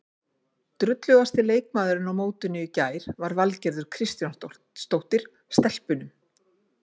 Drullugasti leikmaðurinn á mótinu í gær var Valgerður Kristjánsdóttir, Stelpunum.